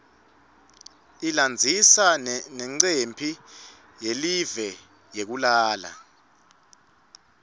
ilandzisa nanqemphi yeliue yekulala